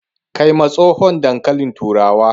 Kai ma tsohon dankalin turawa